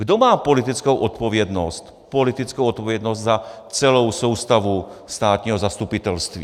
Kdo má politickou odpovědnost za celou soustavu státního zastupitelství?